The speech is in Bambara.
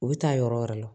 U bɛ taa yɔrɔ wɛrɛ la